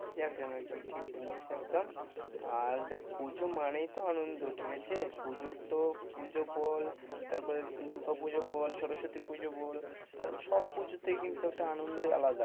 একদম একদম একদম, ঠিক বলেছিস একদম আর দেখ পুজো মানেই তো আনন্দ ঠিক আছে পুজোর তো পুজো বল, তারপরে দূর্গা পুজো বল, সরস্বতী পূজা বল সব পুজোতেই তাই কিন্তু একটা আনন্দ আলাদা।